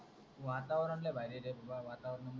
वातावरण लय भारी आहे रे बाबा वातावरण